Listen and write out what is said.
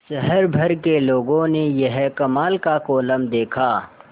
शहर भर के लोगों ने यह कमाल का कोलम देखा